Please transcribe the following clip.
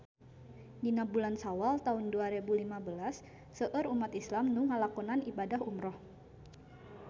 Dina bulan Sawal taun dua rebu lima belas seueur umat islam nu ngalakonan ibadah umrah